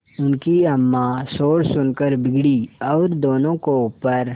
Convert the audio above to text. उनकी अम्मां शोर सुनकर बिगड़ी और दोनों को ऊपर